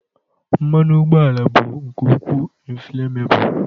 mmanụ ụgbọala bụ nke ukwuu inflammable